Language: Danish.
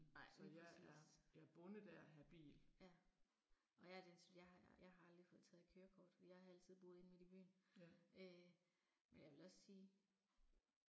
Nej lige præcis. Ja. Og jeg er den jeg har jeg har aldrig fået taget kørekort, for jeg har altid boet inde midt i byen øh men jeg vil også sige